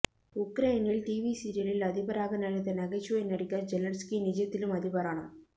உக்ரைனில் டிவி சிரியலில் அதிபராக நடித்த நகைச்சுவை நடிகர் ஜெலன்ஸ்கி நிஜத்திலும் அதிபரானார்